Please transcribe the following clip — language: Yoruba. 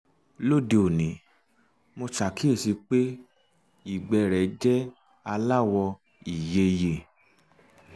lóde òní mo ṣàkíyèsí pé ìgbẹ́ rẹ̀ jẹ́ aláwọ̀ ìyeyè